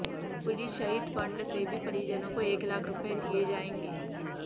police शहीद fund से भी परिजनों को एक लाख रुपये दिए जाएंगे